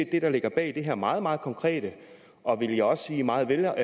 det der ligger bag det her meget meget konkrete og vil jeg også sige meget